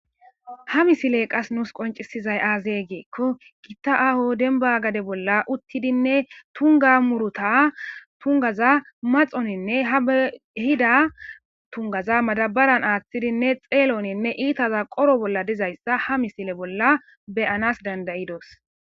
ha misiley qas nuus qoncisizay aazee giikko kitta aho dembba gade bolla uttidinne tungga muruta tungaza maxoninne ha be ehida tunggaza madabaran aaththidinne xeeloninne iitaza qoro bolla dizayssa ha misile bolla be7anaas dandda7idos.